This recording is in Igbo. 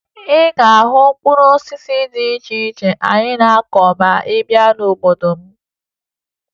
Ị ga-ahụ mkpụrụ osisi dị iche iche anyị na-akụ ma ị bịa n'obodo m